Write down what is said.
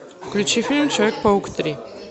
включи фильм человек паук три